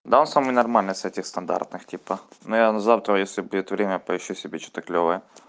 да он самый нормальный с этих стандартных типа ну я на завтра если будет время поищу себе что-то клёвое